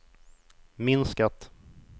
minskat